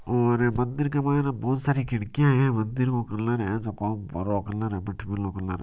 और मंदिर के मायने बहुत सारी खिडकिया हैं मंदिर को कलर एस ह अ हरो कलर मिट बरो कलर --